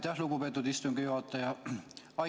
Aitäh, lugupeetud istungi juhataja!